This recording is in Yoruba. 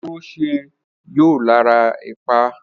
Òróró ṣeé yọ lára ẹ̀pà.